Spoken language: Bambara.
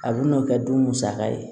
A bɛ n'o kɛ du musaka ye